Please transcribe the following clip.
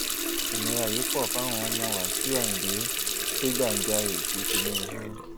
ìnira yìí pọ fáwọn ọmọ wáṣíù ayíǹde kẹgbajarè sí tinubu